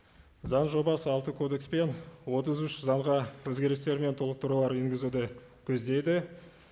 заң жобасы алты кодекс пен отыз үш заңға өзгерістер мен толықтырулар енгізуді көздейді